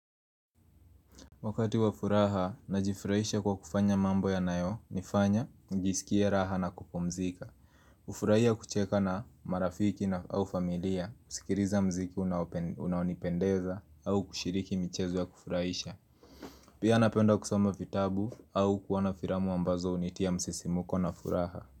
Wakati wa furaha, najifurahisha kwa kufanya mambo y nayo, nifanya, njisikie raha na kupomzika hufurahia kucheka na marafiki au familia, kusikiriza mziki unaonipendeza au kushiriki michezo ya kufurahisha Pia napenda kusoma vitabu au kuwana firamu ambazo hunitia msisimuko na furaha.